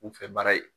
Kunfɛ baara ye